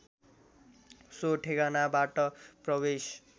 so ठेगानाबाट प्रवेश